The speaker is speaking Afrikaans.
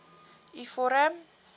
u vorm